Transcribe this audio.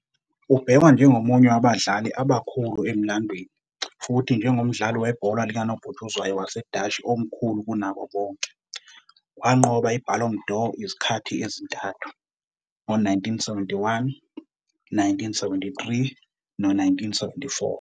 Ubhekwa njengomunye wabadlali abakhulu emlandweni futhi njengomdlali webhola likanobhutshuzwayo waseDashi omkhulu kunabo bonke, wanqoba i-Ballon d'Or izikhathi ezintathu, ngo-1971, 1973, no-1974.